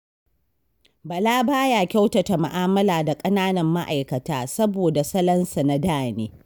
Bala ba ya kyautata mu'amala da ƙananan ma'aikata, saboda salonsa na da ne.